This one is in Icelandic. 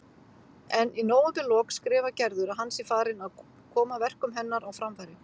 En í nóvemberlok skrifar Gerður að hann sé farinn að koma verkum hennar á framfæri.